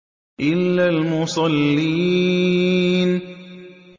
إِلَّا الْمُصَلِّينَ